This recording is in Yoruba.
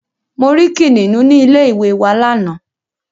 Mo rí Kìnìnú ní ilé ìwé wa lánàá.